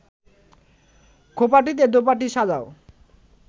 খোঁপাটিতে দোপাটি সাজাও